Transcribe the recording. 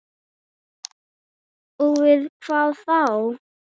Og við hvað þá?